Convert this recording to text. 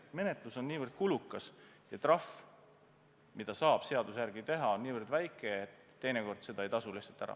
Menetlus on nii kulukas ja trahv, mida saab seaduse järgi teha, on nii väike, et teinekord see ei tasu lihtsalt ära.